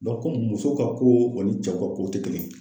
muso ka ko ani cɛ ka ko te kelen ye.